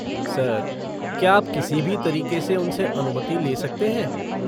Sir क्या आप किसी भी तरीक़े से उनसे अनुमति ले सकते हैं?